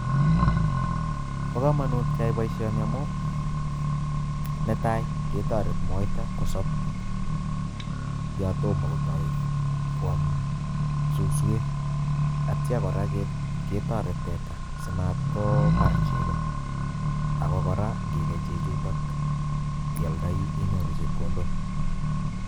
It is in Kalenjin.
Bo kamonut keyai boisioni amu, Netai ketoret moita kosob yatomo kotoi kwam suswek atya kora ketoret teta simat kobar chego ako kora ngikei chechutok ialdoi inyoru chepkondok.